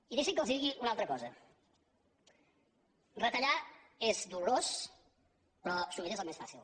i deixin que els digui una altra cosa retallar és dolorós però sovint és el més fàcil